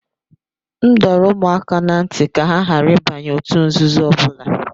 M dọrọ ụmụ m aka ná ntị ka ha ghara ịbanye òtù nzuzo ọbụla